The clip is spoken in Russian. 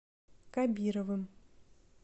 кабировым